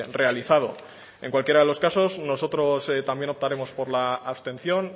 realizado en cualquiera de los casos nosotros también optaremos por la abstención